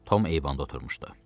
Tom eyvanda oturmuşdu.